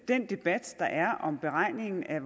den debat der er om beregningen af